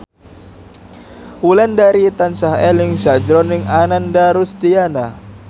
Wulandari tansah eling sakjroning Ananda Rusdiana